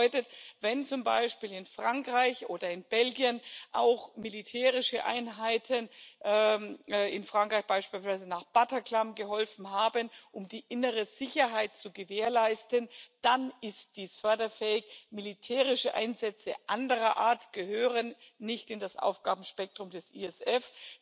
Das bedeutet, wenn zum Beispiel in Frankreich oder in Belgien auch militärische Einheiten in Frankreich beispielsweise nach Bataclan geholfen haben, um die innere Sicherheit zu gewährleisten, dann ist dies förderfähig. Militärische Einsätze anderer Art gehören nicht in das Aufgabenspektrum des ISF.